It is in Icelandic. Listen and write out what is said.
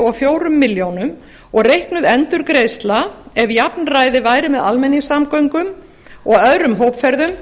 og fjórar milljónir og reiknuð endurgreiðsla ef jafnræði væri með almenningssamgöngum og öðrum hópferðum